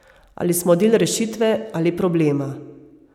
Ali smo del rešitve, ali problema.